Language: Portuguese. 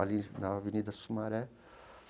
Ali na Avenida Sumaré.